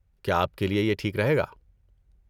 کیا آپ کے لیے یہ ٹھیک رہے گا؟